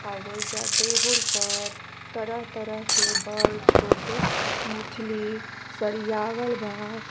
अ ओइजा टेबल पर तरह तरह के बड़ छोट मछली सरियावल बा।